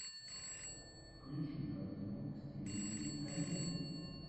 включи картину в стилистике комедии